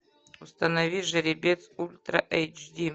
установи жеребец ультра эйч ди